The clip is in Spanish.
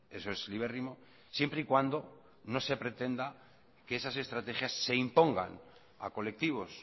eso es libérrimo siempre y cuando no se pretenda que esas estrategias se impongan a colectivos